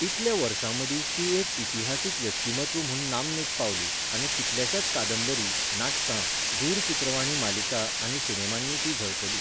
इतल्या वर्सांमदीं ती एक इतिहासीक व्यक्तिमत्व म्हूण नामनेक पावली आनी कितल्याशाच कादंबरी, नाटकां, दूरचित्रवाणी मालिका आनी सिनेमांनी ती झळकली.